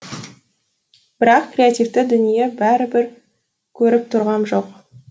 бірақ креативті дүние бәрібір көріп тұрғам жоқ